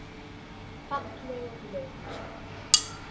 Falleg og ljót.